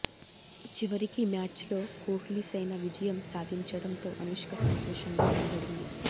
చివరికి మ్యాచ్ లో కోహ్లీ సేన విజయం సాధించడంతో అనుష్క సంతోషంగా కనబడింది